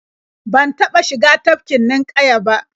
Ban taɓa shiga tafkin ninƙaya ba.